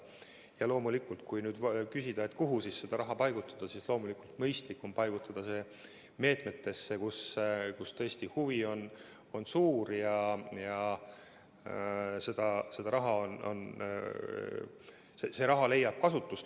Ja kui nüüd küsida, kuhu see raha paigutada, siis loomulikult on mõistlikum paigutada see meetmetesse, kus tõesti huvi on suur ja raha leiab kasutust.